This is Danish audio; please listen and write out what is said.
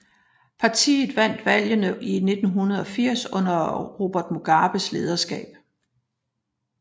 Partiet vandt valgene i 1980 under Robert Mugabes lederskab